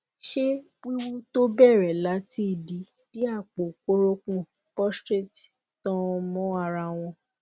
ṣé wíwú tó bẹrẹ láti ìdí dé àpò kórópọn prostrate tan mọ ara wọn